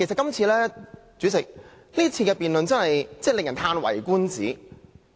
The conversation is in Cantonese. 代理主席，今次的辯論真的令人嘆為觀止。